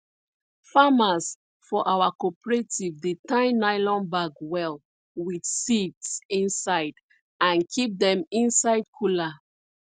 farmers for our cooperative dey tie nylon bag well with seeds inside and keep dem inside cooler